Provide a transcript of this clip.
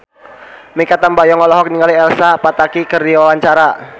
Mikha Tambayong olohok ningali Elsa Pataky keur diwawancara